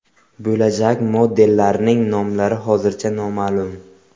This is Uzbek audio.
Bo‘lajak modellarning nomlari hozircha noma’lum.